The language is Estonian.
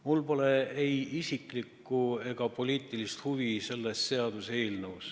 Mul pole ei isiklikku ega poliitilist huvi selle seaduseelnõuga.